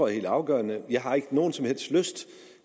er helt afgørende jeg har ikke nogen som helst lyst